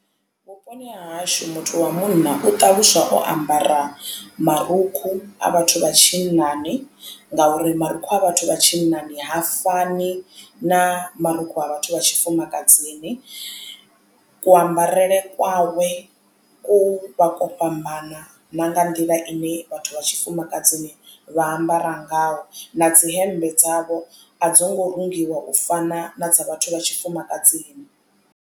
Vhuponi ha hashu muthu wa munna u ṱaluswa o ambara marukhu a vhathu vha tshinnani ngauri marukhu a vhathu vha tshinnani ha fani na marukhu a vhathu vha tshifumakadzini. Kuambarele kwawe ku vha kwo fhambana na nga nḓila ine vhathu vha tshifumakadzini vha ambara ngayo na dzi hemmbe dzavho a dzi ngo rungiwa u fana na dza vhathu vha tshifumakadzini.